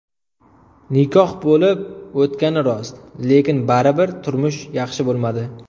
Nikoh bo‘lib o‘tgani rost, lekin baribir turmush yaxshi bo‘lmadi.